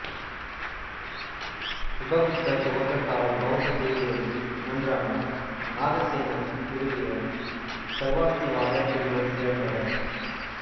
உபகுப்தர் துவக்க கால பௌத்தப் பிரிவுகளில் ஒன்றான நாகசேனர் நிறுவிய சர்வாஸ்திவாதப் பிரிவைச் சேர்ந்தவர்